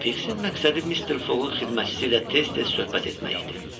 Fiksin məqsədi Mister Foqqun xidmətçisi ilə tez-tez söhbət etmək idi.